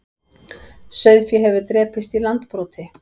Sauðfé hefur drepist í Landbroti